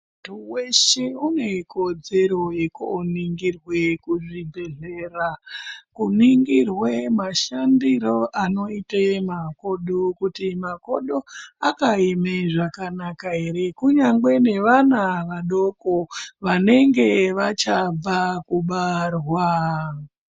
Munthu weshe une kodzero yekoningirwe kuzvibhedhlera. Kuningirwe mashandiro anoite makodo kuti makodo akaeme zvakanaka ere. Kunyange nevana vadoko vanenge vachabva kubarwa.